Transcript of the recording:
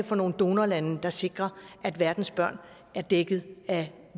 for nogle donorlande der sikrer at verdens børn er dækket af